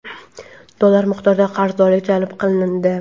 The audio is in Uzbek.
dollar miqdorda qarzdorlik jalb qilindi.